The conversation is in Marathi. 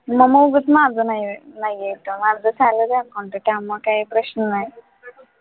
मग मग उगाच माझं नाही आहे नाही आहे का माझं salary account आहे त्यामुळं काही प्रश्न नाही.